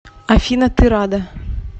афина ты рада